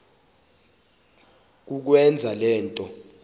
kukwenza le nto